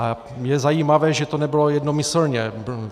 A je zajímavé, že to nebylo jednomyslně.